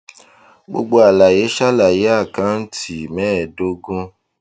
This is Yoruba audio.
gbogbo àlàyé ṣàlàyé àkántì mẹẹdógún